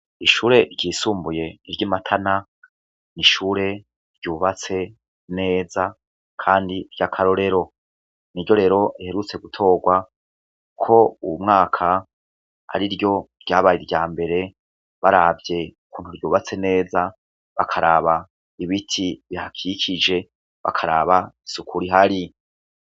Ishure ryisumbuye ry'i Matana n'ishure ryubatse neza kandi ry'akarorero, niryo rero riherutse gutorwa ko uwu mwaka ariryo ryabaye irya mbere baravye ukuntu ryubatse neza, bakaraba ibiti bihakikije, bakaraba isuku rihari.